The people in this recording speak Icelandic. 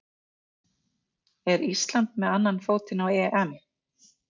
Er Ísland með annan fótinn á EM?